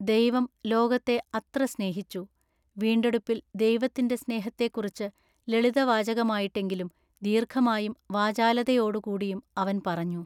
“ദൈവം ലോകത്തെ അത്ര സ്നേഹിച്ചു. വീണ്ടെടുപ്പിൽ "ദൈവത്തിന്റെ സ്നേഹത്തെക്കുറിച്ച് ലളിതവാചകമായിട്ടെങ്കിലും ദീർഘമായും വാചാലതയോടു കൂടിയും അവൻ പറഞ്ഞു.